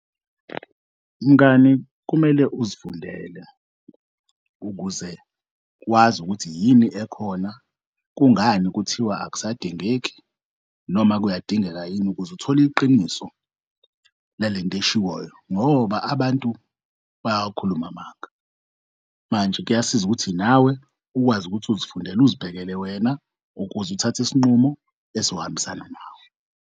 Mngani, kumele uzifundele ukuze wazi ukuthi yini ekhona, kungani kuthiwa akusadingeki noma kuyadingeka yini ukuz'thole iqiniso lalent'eshiwoyo ngoba abantu bayawakhuluma amanga. Manje kuyasiza ukuthi nawe ukwazi ukuthi uzifundele uzibhekela wena ukuze uthath'isinqumo esohambisana nawe.